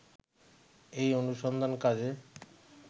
এই অনুসন্ধান কাজে